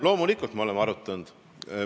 Loomulikult oleme arutanud.